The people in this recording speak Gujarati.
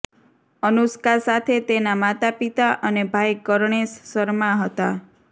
અનુષ્કા સાથે તેના માતા પિતા અને ભાઇ કરણેશ શર્મા હતા